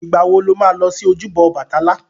Ìgbà wo lo ma lọ sí ojúbọ Ọbàtálá?